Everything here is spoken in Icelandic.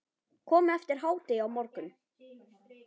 Komið eftir hádegi á morgun.